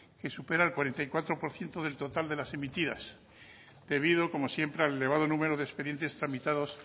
que supera el cuarenta y cuatro por ciento del total de las emitidas debido como siempre al elevado número de expedientes tramitados